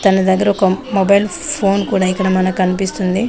తన దగ్గర ఒక మొబైల్ ఫోన్ కూడా ఇక్కడ మనకు కనిపిస్తుంది.